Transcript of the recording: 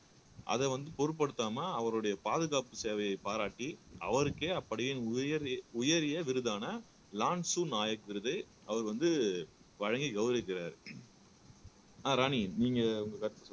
அத வந்து பொருட்படுத்தாமல் அவருடைய பாதுகாப்பு சேவையை பாராட்டி அவருக்கே அப்படியே உயர் உயரிய விருதான லான்சு நாயக் விருது அவர் வந்து வழங்கி கௌரவிக்கிறாரு அஹ் ராணி நீங்க உங்க கருத்தை